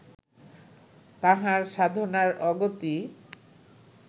তাঁহার সাধনার অগতি